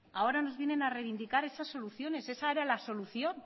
ahora nos vienen a reivindicar esas soluciones esa era la solución